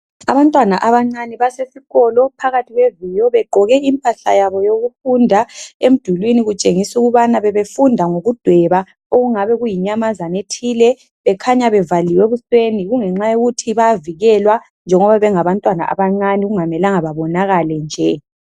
Abantwana abancane basesikolo phakathi kweviyo begqoke impahla yabo yokufunda. Emdulwini kutshengisa ukubana bebefunda ngokudweba okungabe kuyinyamazana ethile bekhanya bevaliwe ebusweni okukhanya ukuthi bayavikelwa njengoba bengabantwana abancane okungamelanga bebonakale nje.